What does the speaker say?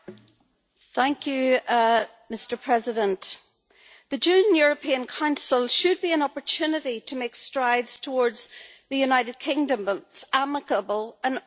Mr President, the June European Council should be an opportunity to make strides towards the United Kingdom's amicable and orderly exit from the European Union.